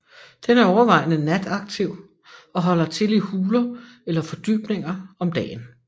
Den er overvejende nataktiv og holder til i huler eller fordybninger om dagen